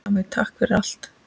Afi, takk fyrir allt!